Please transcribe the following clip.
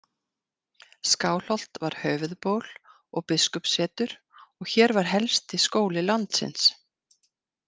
Skálholt var höfuðból og biskupssetur og hér var helsti skóli landsins.